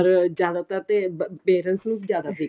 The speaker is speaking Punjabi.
ਪਰ ਜਿਆਦਾ ਤਰ ਤੋਂ parents ਨੂੰ ਵੀ ਜਿਆਦਾ ਫਿਕਰ